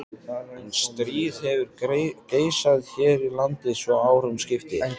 En stríð hefur geisað hér í landi svo árum skiptir.